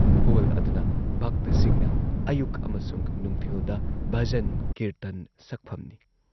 Hall ꯑꯗꯨꯅ ꯚꯛꯇꯁꯤꯡꯅ ꯑꯌꯨꯛ ꯑꯃꯁꯨꯡ ꯅꯨꯡꯊꯤꯜꯗ ꯚꯖꯟ ꯀꯤꯔꯇꯟ ꯁꯛꯐꯝꯅꯤ ꯫